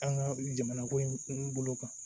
An ka jamana ko in bolo kan